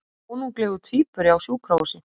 Konunglegur tvíburi á sjúkrahúsi